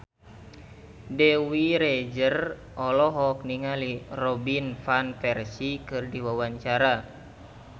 Dewi Rezer olohok ningali Robin Van Persie keur diwawancara